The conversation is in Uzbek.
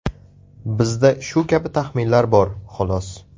Bizda shu kabi taxminlar bor, xolos.